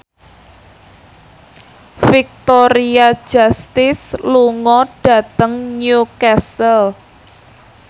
Victoria Justice lunga dhateng Newcastle